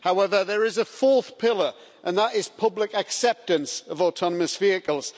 However, there is a fourth pillar, and that is public acceptance of autonomous vehicles.